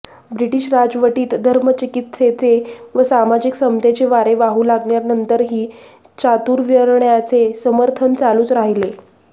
British राजवटीत धर्मचिकित्सेचे व सामाजिक समतेचे वारे वाहू लागल्यानंतरही चातुर्वण्र्याचे समर्थन चालूच राहिले